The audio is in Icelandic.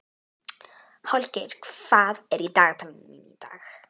Holgeir, hvað er í dagatalinu mínu í dag?